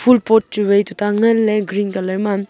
phool pot chu vai tuta ngan ley green colour ma.